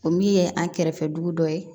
O min ye an kɛrɛfɛ dugu dɔ ye